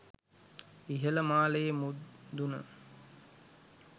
ඉහළ මාලයේ මුදුන